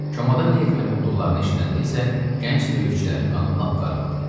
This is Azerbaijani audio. Çomada nə etməli olduqlarını eşidəndə isə gənc döyüşçülərin qanı lap qaraldı.